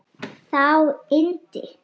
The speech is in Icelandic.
Þá innti